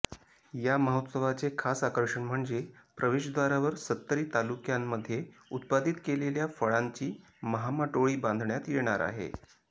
या महोत्सवाचे खास आकर्षण म्हणजे प्रवेशद्वारावर सत्तरी तालुक्मयांमध्ये उत्पादित केलेल्या फळांची महामाटोळी बांधण्यात येणार आहे